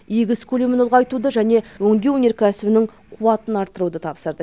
егіс көлемін ұлғайтуды және өңдеу кәсіпорындарының қуатын арттыруды тапсырды